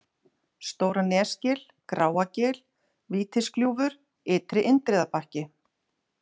Stóra-Nesgil, Gráagil, Vítisgljúfur, Ytri-Indriðabakki